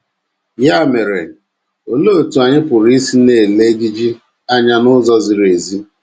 Ya mere, olee otú anyị pụrụ isi na - ele ejiji anya n’ụzọ ziri ezi?